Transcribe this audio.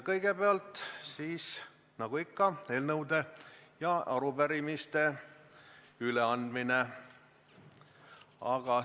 Kõigepealt, nagu ikka, on eelnõude ja arupärimiste üleandmine.